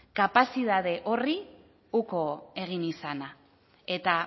kapazidade horri uko egin izana eta